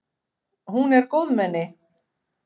Hún er góðmenni.